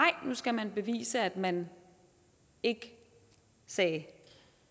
nu skal man bevise at man ikke sagde